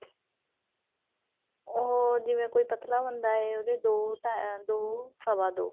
ਉਹ ਜਿਵੇਂ ਕੋਈ ਪਤਲਾ ਬੰਦਾ ਹੈ ਉਹਦੇ ਦੋ ਹਮ ਦੋ ਸਵਾ ਦੋ